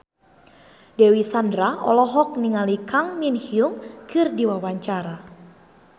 Dewi Sandra olohok ningali Kang Min Hyuk keur diwawancara